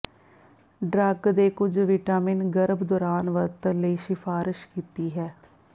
drug ਦੇ ਕੁਝ vitamin ਗਰਭ ਦੌਰਾਨ ਵਰਤਣ ਲਈ ਸਿਫਾਰਸ਼ ਕੀਤੀ ਹੈ